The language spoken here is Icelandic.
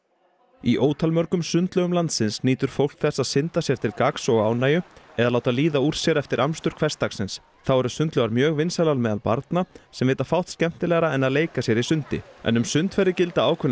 í ótalmörgum sundlaugum landsins nýtur fólk þess að synda sér til gagns og ánægju eða láta líða úr sér eftir amstur hversdagsins þá eru sundlaugar mjög vinsælar meðal barna sem vita fátt skemmtilegra en að leika sér í sundi en um sundferðir gilda ákveðnar